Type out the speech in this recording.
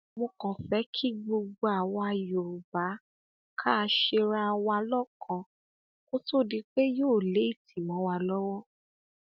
mo kàn fẹ kí gbogbo àwa yorùbá kà ṣera wa lọkan kó tóó di pé yóò léètì mọ wa lọwọ